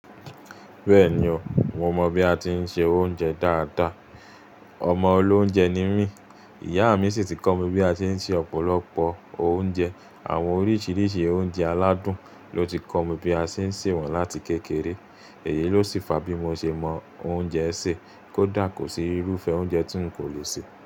Bẹ́ẹ̀ni o, mo mọ bí a ti ń ṣe oúnjẹ dáadáa. Ọmọ olóúnjẹ ni mí. Ìyá mi sì ti kọ́ mi bí a ti ń ṣe ọ̀pọ̀lọpọ̀ oúnjẹ. Àwọn oríṣiríṣi oúnjẹ aládùn ló ti kọ́ mi bí a ṣe ń se wọ́n láti kékeré. Èyí ló sì fa bí mo ṣe mọ oúnjẹ ṣe, kó dà kó sí irúfẹ́ oúnjẹ tí n kò lè se.